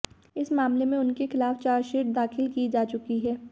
इस मामले में उनके खिलाफ चार्जशीट दाखिल की जा चुकी है